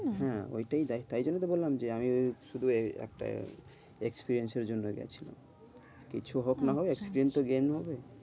হ্যাঁ, ওটাই দেয় তাইজন্য তো বললাম যে আমি শুধু একটা experience এর জন্য গেছিলাম কিছু হোক না হোক experience তো gain হবে